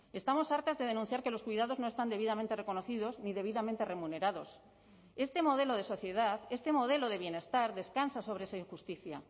estamos hartas de denunciar que los cuidados no están debidamente reconocidos ni debidamente remunerados este modelo de sociedad este modelo de bienestar descansa sobre esa injusticia